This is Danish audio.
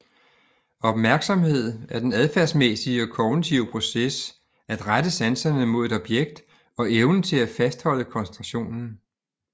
Opmærksomhed er den adfærdsmæssige og kognitive proces at rette sanserne mod et objekt og evnen til at fastholde koncentrationen